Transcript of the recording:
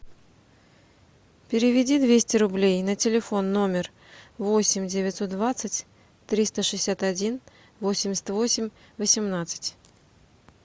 переведи двести рублей на телефон номер восемь девятьсот двадцать триста шестьдесят один восемьдесят восемь восемнадцать